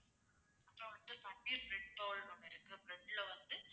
அப்பறம் வந்து paneer bread bowl னு ஒண்ணு இருக்கு bread ல வந்து